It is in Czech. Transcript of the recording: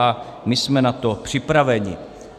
A my jsme na to připraveni.